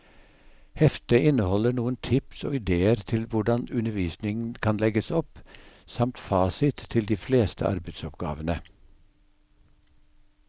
Heftet inneholder noen tips og idéer til hvordan undervisningen kan legges opp, samt fasit til de fleste arbeidsoppgavene.